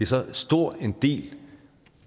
så stor en del